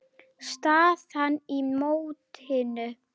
Staðan í mótinu